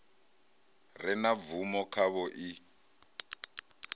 re na bvumo khavho i